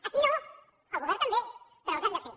a qui no al govern també però els hem de fer